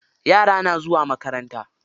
Yara na zuwa makaranta.